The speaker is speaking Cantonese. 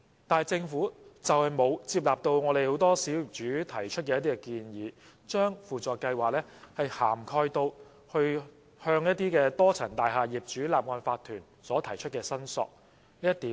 但政府卻沒有接納很多小業主提出的建議，把輔助計劃涵蓋至向多層大廈業主立案法團所提出的申索。